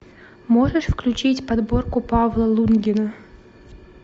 можешь включить подборку павла лунгина